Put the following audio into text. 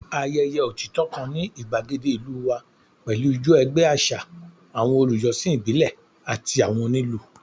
Ayẹyẹ otitọ kan ni igbagede ilu wa pẹlu ijó ẹgbẹ aṣa, awọn olujọsin ibile ati awọn onilu